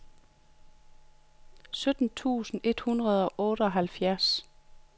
sytten tusind et hundrede og otteoghalvfjerds